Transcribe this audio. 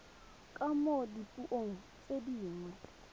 ka mo dipuong tse dingwe